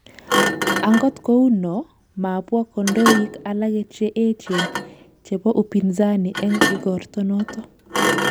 Angot kou no, mabwo kandoik alage che eejen, chebo upinzani eng' igorto noto